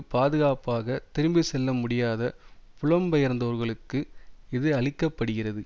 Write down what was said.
பாதுகாப்பாக திரும்பி செல்ல முடியாத புலம்பெயர்ந்தோர்களுக்கு இது அளிக்க படுகிறது